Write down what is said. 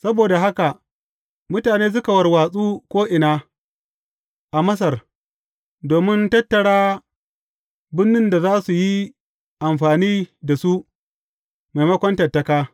Saboda haka mutane suka warwatsu ko’ina a Masar domin tattara bunnun da za su yi amfani da su, maimakon tattaka.